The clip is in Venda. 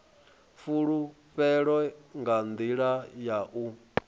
fhulufhelo nga nḓila ya u